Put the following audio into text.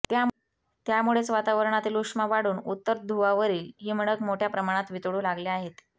त्यामुळेच वातावरणातील उष्मा वाढून उत्तर धुवावरील हिमनग मोठ्या प्रमाणात वितळू लागले आहेत